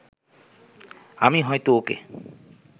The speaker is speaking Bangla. আমি হয়তো ওকে